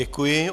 Děkuji.